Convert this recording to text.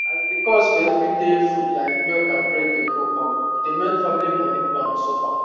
as the cost for every day food like milk and bread dey go upe dey make family money plan suffer